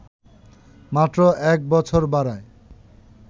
মাত্র ১ বছর বাড়ায়